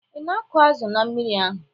Ị na-akụ azụ na mmiri ahụ?